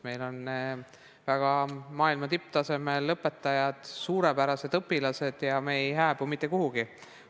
Meil on väga maailma tipptasemel õpetajad, suurepärased õpilased ja me ei hääbu mitte kuhugi.